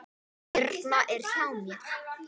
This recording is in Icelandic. Birna er hjá mér.